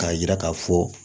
K'a yira k'a fɔ